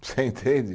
Você entende?